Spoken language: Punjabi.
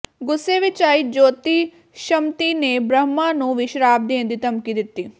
ਗੁੱਸੇ ਵਿਚ ਆਈ ਜੋਤੀਸ਼ਮਤੀ ਨੇ ਬ੍ਰਹਮਾ ਨੂੰ ਵੀ ਸਰਾਪ ਦੇਣ ਦੀ ਧਮਕੀ ਦਿੱਤੀ